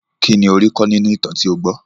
Kínní ó rí kọ́ nínú ìtàn tí ó gbọ́?